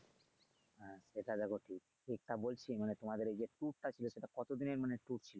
হ্যা সেটা দেখো ঠিক যা বলছি মানে তোমাদের এই যে tour টা ছিলো সেটা কতদিনের মানে tour